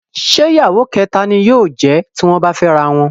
Ṣé ìyàwó kẹ̀ta ni yóò jẹ̀ ẹ́ tí wọ́n bá fẹ́ ara wọn?